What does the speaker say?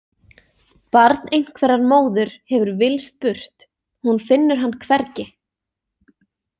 Barn einhverrar móður hefur villst burt, hún finnur hann hvergi.